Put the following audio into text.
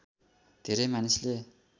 धेरै मानिसले